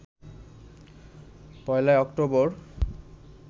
১ October